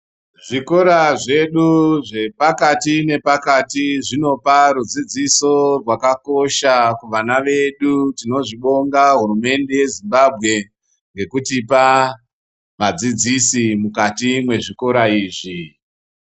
Zvikora zvedu zvepakati nepakati zvinopa rudzidziso rwakakosha kuvana vedu. Tinozvibonga hurumende yeZimbabwe ngekutipa vadzidzisi mukati mwezvikora izvi.